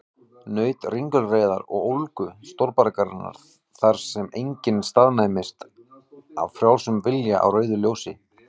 Naut ringulreiðar og ólgu stórborgarinnar, þar sem enginn staðnæmist af frjálsum vilja á rauðu ljósi.